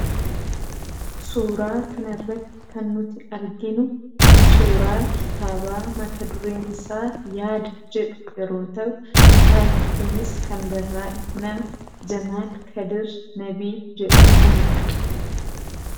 suuraa kan irratti kan nuti arginu suuraa kitaabaa mata dureen isaa yaada jedhu yeroo ta'u kitaabni kunis kan barraa'e nama Jamaal Kadir Nabii jedhamuunidha.